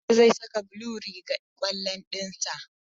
Hamza zai saka blue rigar kwallon dinsa.